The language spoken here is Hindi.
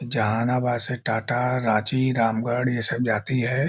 जहानाबाद से टाटा रांची रामगढ़ ये सब जाती है।